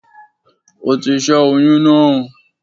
Ó ti ṣé oyún náà